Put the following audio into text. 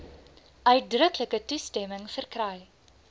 uitdruklike toestemming verkry